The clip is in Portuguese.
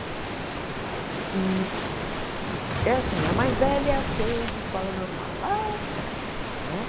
Hum é assim, a mais velha fez escola normal, lá atrás, né?